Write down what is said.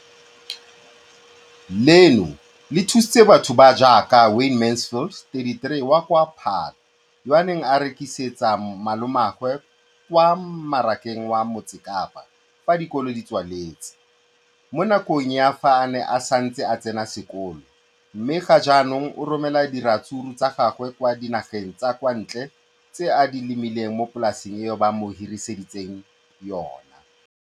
Leno le thusitse batho ba ba jaaka Wayne Mansfield, 33, wa kwa Paarl, yo a neng a rekisetsa malomagwe kwa Marakeng wa Motsekapa fa dikolo di tswaletse, mo nakong ya fa a ne a santse a tsena sekolo, mme ga jaanong o romela diratsuru tsa gagwe kwa dinageng tsa kwa ntle tseo a di lemileng mo polaseng eo ba mo hiriseditseng yona.